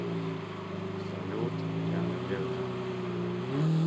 салют я надежда